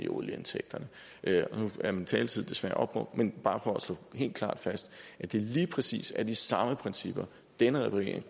olieindtægterne nu er min taletid desværre opbrugt men bare for at slå det helt klart fast det er lige præcis de samme principper denne regering